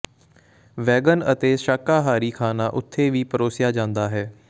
wagon ਅਤੇ ਸ਼ਾਕਾਹਾਰੀ ਖਾਣਾ ਉੱਥੇ ਵੀ ਪਰੋਸਿਆ ਜਾਂਦਾ ਹੈ